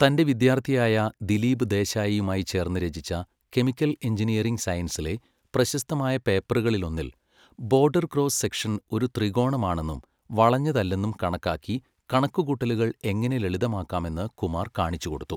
തന്റെ വിദ്യാർത്ഥിയായ ദിലീപ് ദേശായിയുമായി ചേർന്ന് രചിച്ച കെമിക്കൽ എഞ്ചിനീയറിംഗ് സയൻസിലെ പ്രശസ്തമായ പേപ്പറുകളിലൊന്നിൽ ബോർഡർ ക്രോസ് സെക്ഷൻ ഒരു ത്രികോണമാണെന്നും വളഞ്ഞതല്ലെന്നും കണക്കാക്കി കണക്കുകൂട്ടലുകൾ എങ്ങനെ ലളിതമാക്കാമെന്ന് കുമാർ കാണിച്ചുകൊടുത്തു.